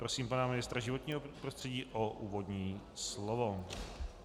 Prosím pana ministra životního prostředí o úvodní slovo.